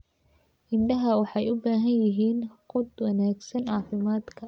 Idaha waxay u baahan yihiin quud wanaagsan caafimaadka.